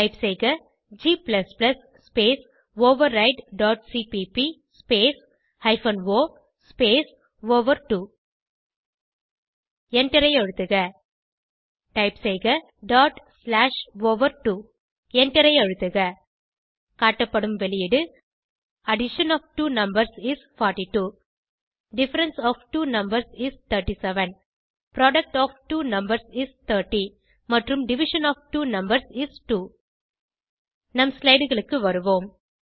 type செய்க g space override dot cpp space hyphen o space over எண்டரை அழுத்துக type செய்க டாட் ஸ்லாஷ் ஓவர்2 எண்டரை அழுத்துக காட்டப்படும் வெளியீடு addition of two numbers is 42 difference of two numbers is 37 product of two numbers is 30 மற்றும் division of two numbers is 2 நம் slideகளுக்கு வருவோம்